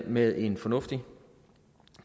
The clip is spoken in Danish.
med en fornuftig